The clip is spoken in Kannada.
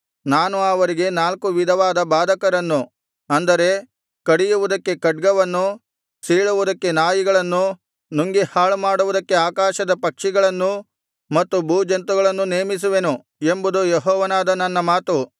ನಾನು ಅವರಿಗೆ ನಾಲ್ಕು ವಿಧವಾದ ಬಾಧಕರನ್ನು ಅಂದರೆ ಕಡಿಯುವುದಕ್ಕೆ ಖಡ್ಗವನ್ನು ಸೀಳುವುದಕ್ಕೆ ನಾಯಿಗಳನ್ನು ನುಂಗಿ ಹಾಳುಮಾಡುವುದಕ್ಕೆ ಆಕಾಶದ ಪಕ್ಷಿಗಳನ್ನೂ ಮತ್ತು ಭೂಜಂತುಗಳನ್ನೂ ನೇಮಿಸುವೆನು ಎಂಬುದು ಯೆಹೋವನಾದ ನನ್ನ ಮಾತು